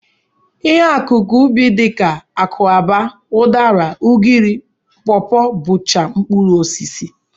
Ihe akụkụ ubi dị ka akwụaba, ụdara, ugiri, pọpọ bụcha mkpụrụosisi